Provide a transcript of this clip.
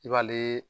I b'ale